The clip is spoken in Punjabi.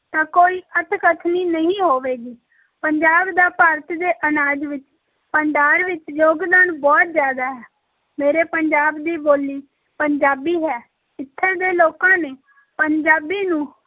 ਤਾਂ ਕੋਈ ਅਤਿਕਥਨੀ ਨਹੀਂ ਹੋਵੇਗੀ ਪੰਜਾਬ ਦਾ ਭਾਰਤ ਦੇ ਅਨਾਜ ਵਿੱਚ ਭੰਡਾਰ ਵਿੱਚ ਯੋਗਦਾਨ ਬਹੁਤ ਜ਼ਿਆਦਾ ਹੈ, ਮੇਰੇ ਪੰਜਾਬ ਦੀ ਬੋਲੀ ਪੰਜਾਬੀ ਹੈ, ਇੱਥੇ ਦੇ ਲੋਕਾਂ ਨੇ ਪੰਜਾਬੀ ਨੂੰ